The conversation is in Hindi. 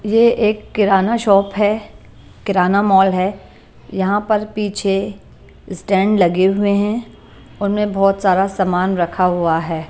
ये एक किराना शॉप है किराना मॉल है यहां पर पीछे स्टैंड लगे हुए हैं उनमें बहुत सारा सामान रखा हुआ है।